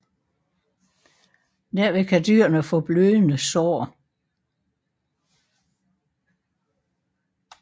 Derved kan dyrene få blødende sår